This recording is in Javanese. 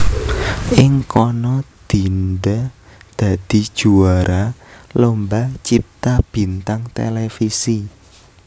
Ing kana Dinda dadi juwara Lomba Cipta Bintang Televisi